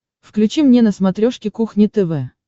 включи мне на смотрешке кухня тв